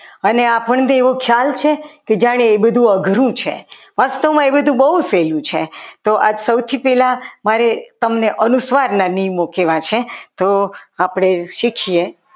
અને આપણને એવી જાન છે કે એ બધું અઘરું છે ફક્ત એ બધું બહુ સહેલું છે તો આ સૌથી પહેલા મારી તમને અનુસ્વારના નિયમો કહેવાય છે તો આપણે શીખીએ.